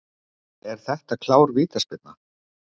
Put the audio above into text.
Er þetta klár vítaspyrna?